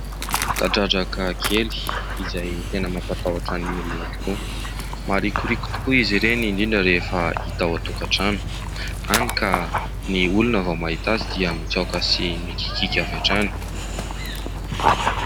Kadradraka kely izay tena mampatahotra ny olona tokoa. Maharikoriko tokoa izy ireny indrindra rehefa hita ao an-tokatrano, hany ka ny olona vao mahita azy dia mitsaoka sy mikikika avy hatrany.